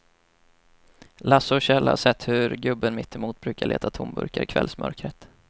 Lasse och Kjell har sett hur gubben mittemot brukar leta tomburkar i kvällsmörkret.